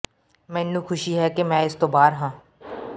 ਮੈਨੂੰ ਖੁਸ਼ੀ ਹੈ ਕਿ ਮੈਂ ਇਸ ਤੋਂ ਬਾਹਰ ਹਾਂ